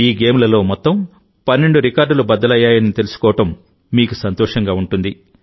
ఈ గేమ్లలో మొత్తం 12 రికార్డులు బద్దలయ్యాయని తెలుసుకోవడం మీకు సంతోషంగా ఉంటుంది